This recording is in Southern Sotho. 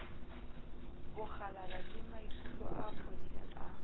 bokgalala lemaikutlo a phodileng a